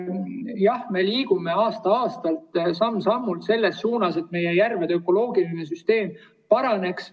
Jah, me liigume aasta-aastalt samm-sammult selles suunas, et meie järvede ökoloogiline süsteem paraneks.